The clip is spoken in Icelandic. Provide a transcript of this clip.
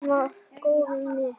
Hún var goðið mitt.